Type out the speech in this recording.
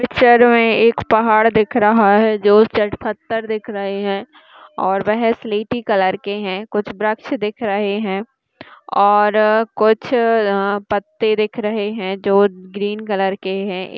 Picture में एक पहाड़ दिख रहा है दो चार पत्थर दिख रहा है और वह सलेटी कलर के हैं कुछ वृक्ष दिख रहे हैं और अ कुछ अ पत्ते दिख रहे हैं जो ग्रीन कलर के हैं।